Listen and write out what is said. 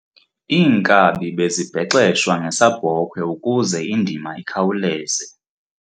Iinkabi bezibhexeshwa ngesabhokhwe ukuze indima ikhawuleze.